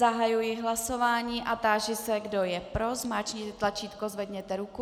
Zahajuji hlasování a táži se, kdo je pro, zmáčkněte tlačítko, zvedněte ruku.